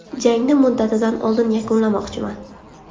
Jangni muddatidan oldin yakunlamoqchiman.